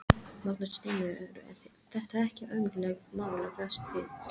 Magnús Hlynur: Eru þetta ekki ömurleg mál að fást við?